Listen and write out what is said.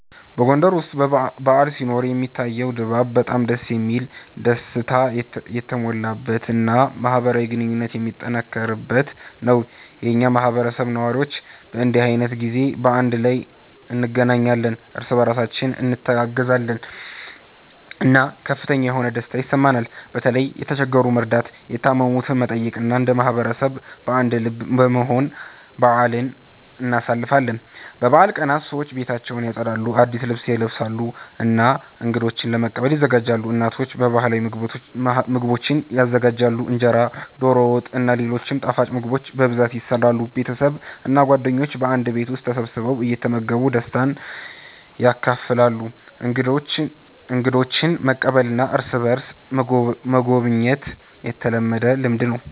በጎንደር ውስጥ በዓል ሲኖር የሚታየው ድባብ በጣም ደስ የሚል፣ ደስታ የተሞላበት እና ማህበራዊ ግንኙነት የሚጠነክርበት ነው። የኛ ማህበረሰብ ነዋሪዎች በእንዲህ ዓይነት ጊዜ በአንድ ላይ እንገናኛለን፣ እርስ በእርሳችን እንተጋገዛለን እና ከፍተኛ የሆነ ደስታ ይሰማናል። በተለይም የተቸገሩትን በመርዳት፣ የታመሙትን በመጠየቅ እና እንደ ማህበረሰብ በአንድ ልብ በመሆን በአልን እናሳልፋለን። በበዓል ቀናት ሰዎች ቤታቸውን ያጸዳሉ፣ አዲስ ልብስ ይለብሳሉ እና እንገዶችን ለመቀበል ይዘጋጃሉ። እናቶች ባህላዊ ምግቦችን ይዘጋጃሉ፣ እንጀራ፣ ዶሮ ወጥ እና ሌሎች ጣፋጭ ምግቦች በብዛት ይሰራሉ። ቤተሰብ እና ጓደኞች በአንድ ቤት ተሰብስበው እየተመገቡ ደስታን ያካፍላሉ። እንግዶችን መቀበልና እርስ በእርስ መጎብኘት የተለመደ ልምድ ነው።